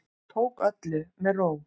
Tók öllu með ró